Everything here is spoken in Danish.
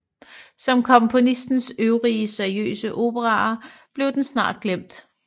Som komponistens øvrige seriøse operaer blev den snart glemt